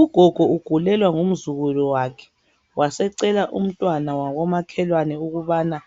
Ugogo ugulelwa ngu mzukulu wakhe wasecela umntwana wako makhelwane ukubana